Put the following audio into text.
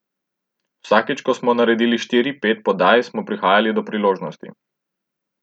Vsakič, ko smo naredili štiri, pet podaj, smo prihajali do priložnosti.